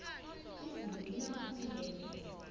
izulu lina khulu ehlobo